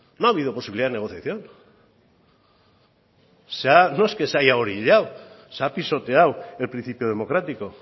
no ha habido posibilidad de negociación no es que se haya orillado se ha pisoteado el principio democrático